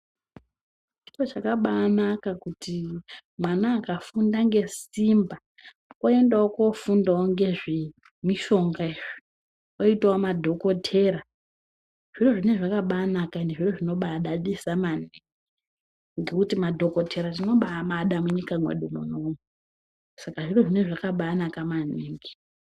Chiro chakabaanaka kuti mwana akagunda ngesimba oendawo kofunda ngezve mushonga izvi oitawo madhokotera zviro zvine zvakabaanaka ende zviro zvinobaadadisa maningi ngekuti madhokotera tinobaamada munyika mwedu munomu saka zviro zvine zvakabaanaka maningi.